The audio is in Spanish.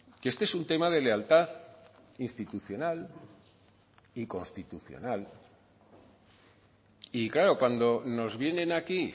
que este es un tema de lealtad institucional y constitucional y claro cuando nos vienen aquí